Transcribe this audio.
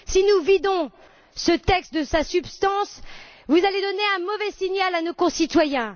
Si nous vidons ce texte de sa substance, vous allez donner un mauvais signal à nos concitoyens.